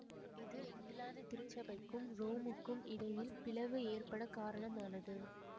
இது இங்கிலாந்து திருச்சபைக்கும் ரோமுக்கும் இடையில் பிளவு ஏற்பட காரணமானது